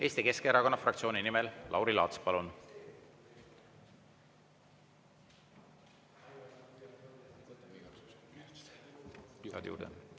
Eesti Keskerakonna fraktsiooni nimel Lauri Laats, palun!